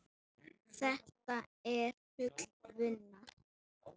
Þetta er full vinna.